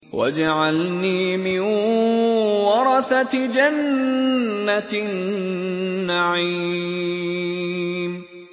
وَاجْعَلْنِي مِن وَرَثَةِ جَنَّةِ النَّعِيمِ